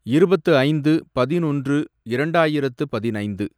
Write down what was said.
இருபத்து ஐந்து, பதினொன்று, இரண்டாயிரத்து பதினைந்து